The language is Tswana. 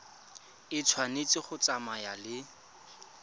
e tshwanetse go tsamaya le